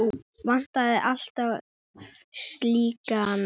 Það vantar alltaf slíka menn.